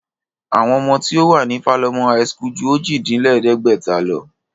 Àwọn ọmọ tí ó wà ní Falomo high school ju ojì-dín-lẹ̀ẹ́dẹ́gbẹ̀ta lọ